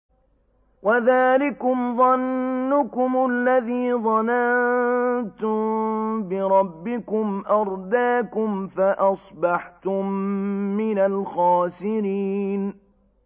وَذَٰلِكُمْ ظَنُّكُمُ الَّذِي ظَنَنتُم بِرَبِّكُمْ أَرْدَاكُمْ فَأَصْبَحْتُم مِّنَ الْخَاسِرِينَ